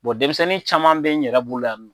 denmisɛnnin caman bɛ n yɛrɛ bolo yan